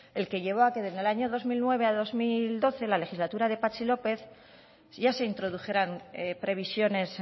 el que llevó a que del año dos mil nueve a dos mil doce la legislatura de patxi lópez ya se introdujeran previsiones